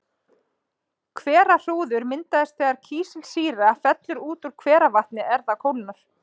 Hverahrúður myndast þegar kísilsýra fellur út úr hveravatni er það kólnar.